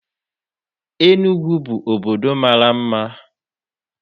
Enugwu bụ obodo mara mma.